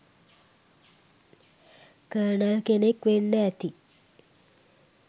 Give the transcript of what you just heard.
colonel” කෙනෙක් වෙන්න ඇති